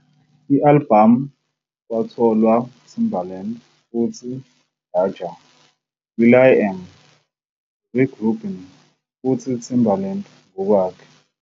I-albhamu kwatholwa Timbaland futhi Danja, will.i.am, Rick Rubin futhi Timberlake ngokwakhe.